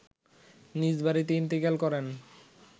নিজ বাড়িতে ইন্তেকাল করেন